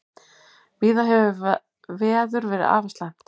Víða hefur veður verið afar slæmt